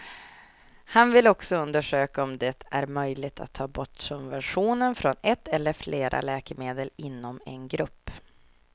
Han vill också undersöka om det är möjligt att ta bort subventionen från ett eller flera läkemedel inom en grupp.